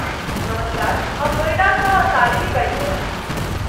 नमस्कार, हम नोएडासँ शालिनी बाजि रहल छी।